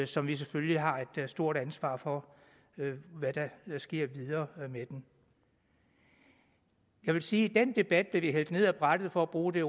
som vi selvfølgelig har et stort ansvar for hvad der sker videre med jeg vil sige at i den debat blev vi hældt ned ad brættet for at bruge det